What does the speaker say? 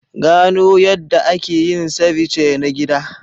Gano yadda ake yin ceviche na gida.